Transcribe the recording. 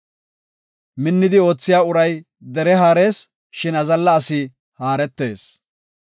Minnidi oothiya uray dere haarees; shin azalla asi haaretees.